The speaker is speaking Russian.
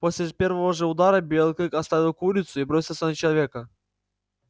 после первого же удара белый клык оставил курицу и бросился на человека